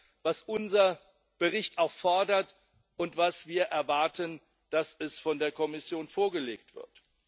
Das ist das, was unser Bericht auch fordert und was wir erwarten, dass es von der Kommission vorgelegt wird.